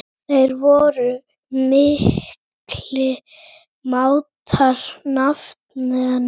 Þeir voru miklir mátar, nafnarnir.